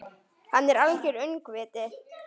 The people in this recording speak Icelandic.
Hann er algert öngvit!